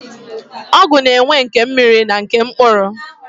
Ọgwụ na-enwe nke mmiri na nke mkpụrụ.